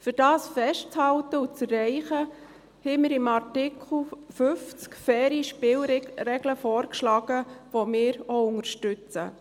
Um das festzuhalten und zu erreichen, haben wir in Artikel 50 faire Spielregeln vorgeschlagen, die wir auch unterstützen.